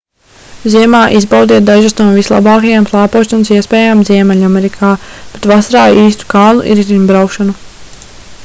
ziemā izbaudiet dažas no vislabākajām slēpošanas iespējām ziemeļamerikā bet vasarā īstu kalnu riteņbraukšanu